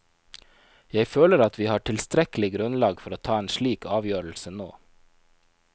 Jeg føler at vi har tilstrekkelig grunnlag for å ta en slik avgjørelse nå.